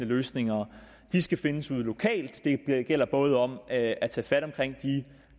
løsningerne skal findes ude lokalt det gælder både om at at tage fat om de